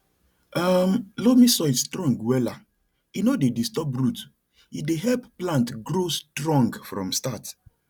um loamy soil strong wella e no dey disturb root e dey help plant grow strong from start